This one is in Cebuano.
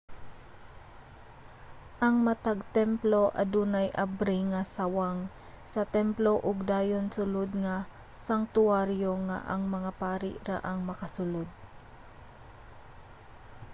ang matag templo adunay abri nga sawang sa templo ug dayon sulod nga sangtuwaryo nga ang mga pari ra ang makasulod